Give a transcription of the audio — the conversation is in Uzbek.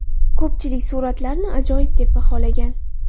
Ko‘pchilik suratlarni ajoyib deb baholagan.